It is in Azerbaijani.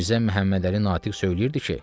Mirzə Məhəmmədəli Natiq söyləyirdi ki: